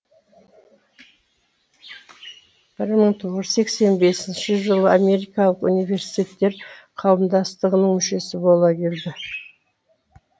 бір мың тоғыз жүз сексен бесінші жылы америкалық университеттер қауымдастығының мүшесі бола келді